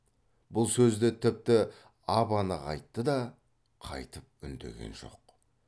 бұл сөзді тіпті ап анық айтты да қайтып үндеген жоқ